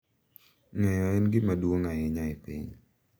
Ng’eyo en gima duong’ ahinya e piny.